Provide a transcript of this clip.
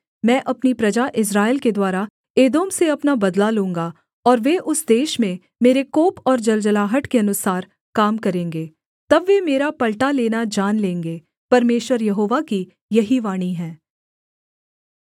मैं अपनी प्रजा इस्राएल के द्वारा एदोम से अपना बदला लूँगा और वे उस देश में मेरे कोप और जलजलाहट के अनुसार काम करेंगे तब वे मेरा पलटा लेना जान लेंगे परमेश्वर यहोवा की यही वाणी है